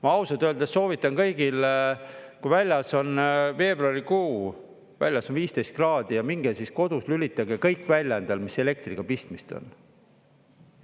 Ma ausalt öeldes soovitan kõigil, kui väljas on veebruarikuu, väljas on 15 kraadi ja minge kodus lülitage kõik välja endal, mis elektriga pistmist on.